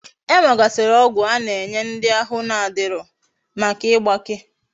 E nwegasiri ogwu ana enye ndi ahu na adiro Maka igbake